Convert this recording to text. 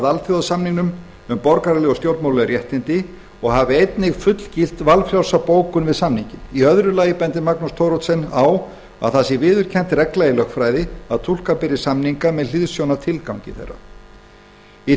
alþjóðasamningnum um borgaraleg og stjórnmálaleg réttindi og hafi einnig fullgilt valfrjálsa bókun við samninginn hann bendir í öðru lagi á að það sé viðurkennd regla í lögfræði að túlka beri samninga með hliðsjón af tilgangi þeirra hann segir í